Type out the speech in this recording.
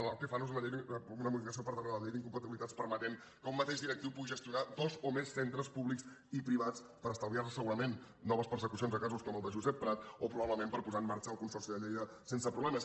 el que fan és una modificació per darrere de la llei d’incompatibilitats que permet que un mateix directiu pugui gestionar dos o més centres públics i privats per estalviar se segurament noves persecucions de casos com el de josep prat o probablement per posar en marxa el consorci de lleida sense problemes